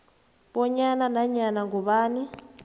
bonyana nanyana ngubani